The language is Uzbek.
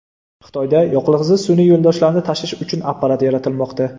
Xitoyda yoqilg‘isiz sun’iy yo‘ldoshlarni tashish uchun apparat yaratilmoqda.